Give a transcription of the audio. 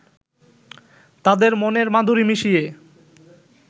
তাদের মনের মাধুরী মিশিয়ে